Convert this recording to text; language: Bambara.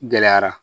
Gɛlɛyara